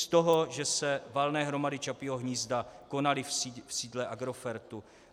Z toho, že se valné hromady Čapího hnízda konaly v sídle Agrofertu.